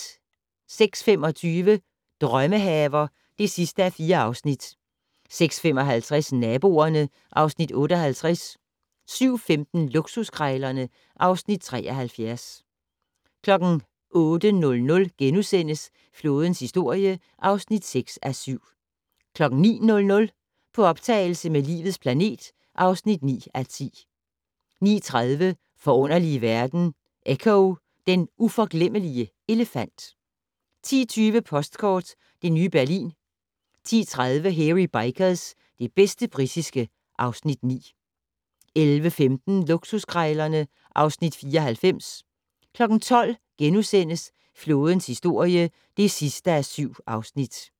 06:25: Drømmehaver (4:4) 06:55: Naboerne (Afs. 58) 07:15: Luksuskrejlerne (Afs. 73) 08:00: Flådens historie (6:7)* 09:00: På optagelse med "Livets planet" (9:10) 09:30: Forunderlige verden - Echo, den uforglemmelige elefant 10:20: Postkort: Det nye Berlin 10:30: Hairy Bikers - det bedste britiske (Afs. 9) 11:15: Luksuskrejlerne (Afs. 94) 12:00: Flådens historie (7:7)*